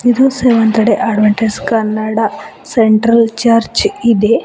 ಇದು seventh day Adventist Kannada central church ಇದೆ.